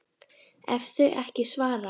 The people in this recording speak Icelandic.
ef þau ekki svara